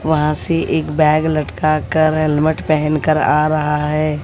वहां से एक बैग लटका कर हेलमेट पहन कर आ रहा है।